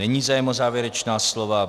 Není zájem o závěrečná slova.